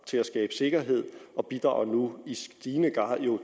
til at skabe sikkerhed og bidrager nu i stigende grad